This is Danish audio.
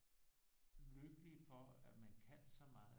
Lykkelig for at man kan så meget